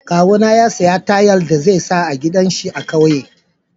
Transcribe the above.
Kawuna ya saya tayal da za sa a gidan shi a'kauye.